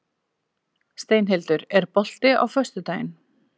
Steinhildur, er bolti á föstudaginn?